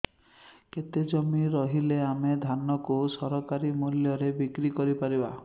କେତେ ଜମି ରହିଲେ ଆମେ ଧାନ କୁ ସରକାରୀ ମୂଲ୍ଯରେ ବିକ୍ରି କରିପାରିବା